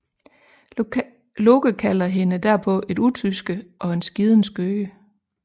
Loke kalder hende derpå et utyske og en skiden skøge